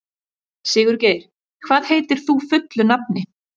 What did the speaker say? Sigurgeir, hvað heitir þú fullu nafni?